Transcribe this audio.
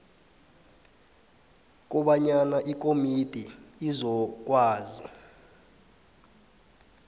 kobanyana ikomidi izokwazi